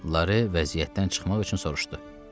Lara vəziyyətdən çıxmaq üçün soruşdu.